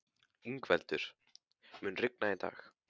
Yngveldur, mun rigna í dag?